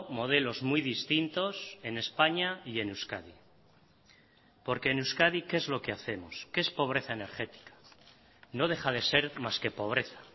modelos muy distintos en españa y en euskadi porque en euskadi qué es lo que hacemos que es pobreza energética no deja de ser más que pobreza